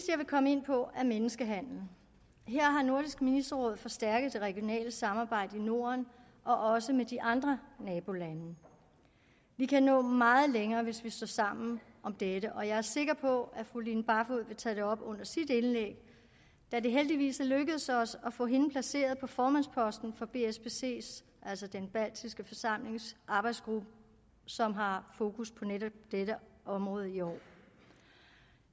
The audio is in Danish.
jeg vil komme ind på er menneskehandel her har nordisk ministerråd forstærket det regionale samarbejde i norden og også med de andre nabolande vi kan nå meget længere hvis vi står sammen om dette og jeg er sikker på at fru line barfod vil tage det op under sit indlæg da det heldigvis er lykkedes os at få hende placeret på formandsposten for bspc altså den baltiske forsamlings arbejdsgruppe som har fokus på netop dette område i år